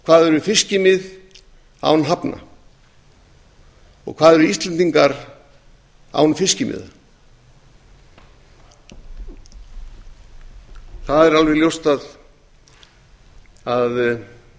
hvað eru fiskimið án hafnar og hvað eru íslendingar án fiskimiða það er alveg ljóst að það